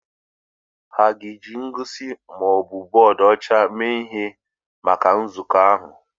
A ga-eji ihe ngosi ma ọ bụ bọọdụ ọcha mee ihe maka nzukọ ahụ?